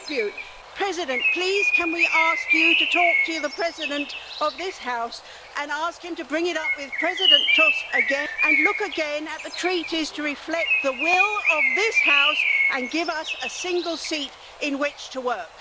Mr President, please can we ask you to talk to the President of this House and ask him to bring it up again with President Tusk and look again at the Treaties to reflect the will of this House and give us a single seat in which to work?